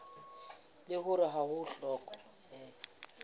leng hore ha ho hlokehe